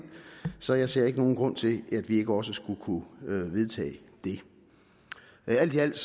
så jeg ser ikke nogen grund til at vi ikke også skulle kunne vedtage det alt i alt